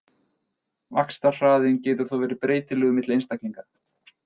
Vaxtarhraðinn getur þó verið breytilegur milli einstaklinga.